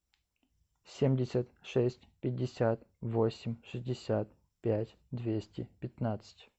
семьдесят шесть пятьдесят восемь шестьдесят пять двести пятнадцать